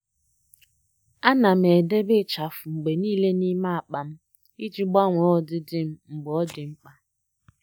À nà m edèbè ịchafụ mgbe nìile n’ímé ákpá m iji gbanwee ọdịdị m mgbe ọ́ dị́ mkpa.